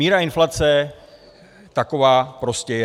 Míra inflace taková prostě je.